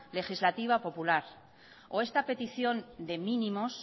legislativa popular o esta petición de mínimos